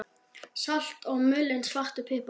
Salt og mulinn svartur pipar